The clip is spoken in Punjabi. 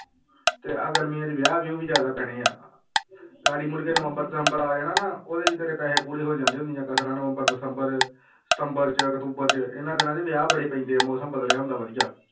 ਤੇ ਆਹ ਗਰਮੀਆਂ ਚ ਵਿਆਹ ਵਿਊਹ ਵੀ ਜ਼ਿਆਦਾ ਪੈਣੇ ਆਂ ਗਾੜੀ ਮੁੜਕੇ ਨਵੰਬਰ ਦਸੰਬਰ ਆ ਜਾਣਾ ਨਾ ਉਹਦੇ ਚ ਤੇਰੇ ਪੈਸੇ ਪੂਰੇ ਹੋ ਜਾਂਦੇ ਨੀ ਨਵੰਬਰ ਦਸੰਬਰ ਸਤੰਬਰ ਚ ਅਕਤੂਬਰ ਚ ਇਹਨਾਂ ਦਿਨਾਂ ਚ ਵਿਆਹ ਬੜੇ ਪੈਂਦੇ ਆ ਮੌਸਮ ਬਦਲਿਆ ਹੁੰਦਾ ਵਧੀਆ।